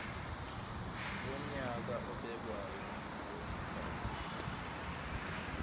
wonyaka obekwayo ngezikhathi